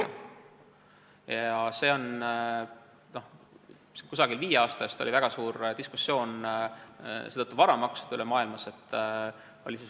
Umbes viie aasta eest oli seetõttu väga suur diskussioon varamaksude üle maailmas.